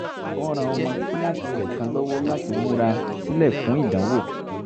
ó ran ọmọ kíláàsì rẹ̀ kan lọ́wọ́ láti múra sílẹ̀ fún ìdánwò